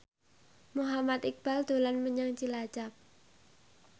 Muhammad Iqbal dolan menyang Cilacap